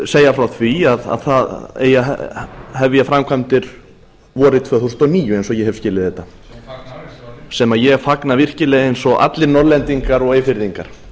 segja frá því að það eigi að hefja framkvæmdir vorið tvö þúsund og níu eins og ég hef skilið þetta sem ég fagna virkilega eins og allir norðlendingar og eyfirðingar